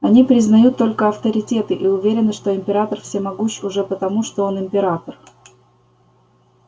они признают только авторитеты и уверены что император всемогущ уже потому что он император